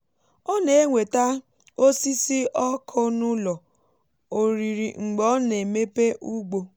ọ na-eweta osisi ọkụ n'ụlọ oriri mgbe ọ na-emepe ugbo.